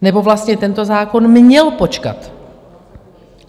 Nebo vlastně tento zákon měl počkat.